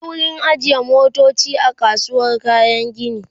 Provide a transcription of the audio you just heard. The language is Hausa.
akwai wurin ajiye motoci a kasuwar kayan gini